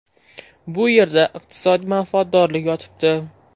Bu yerda iqtisodiy manfaatdorlik yotibdi.